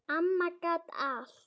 Amma gat allt.